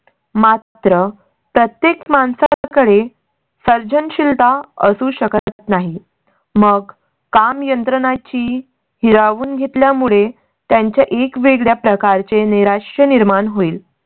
मात्र प्रत्येक माणसाकडे सर्जनशीलता असू शकत नाही. मग काम यंत्रणाची हिरा वून घेतल्या मुळे त्यांचा एक वेगळ्या प्रकारचे नैराश्य निर्माण होईल.